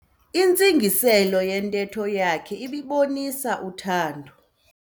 Intsingiselo yentetho yakhe ibibonisa uthando.